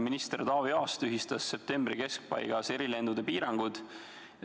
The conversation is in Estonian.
Minister Taavi Aas tühistas septembri keskpaigas erilendude piirangud.